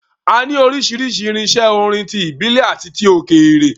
A ní oríṣiríṣi irinṣẹ́ orin - tí ìbílẹ̀ àti òkèèrè.